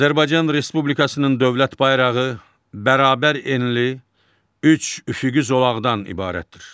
Azərbaycan Respublikasının dövlət bayrağı bərabər enli üç üfüqi zolaqdan ibarətdir.